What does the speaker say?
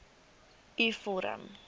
u vorm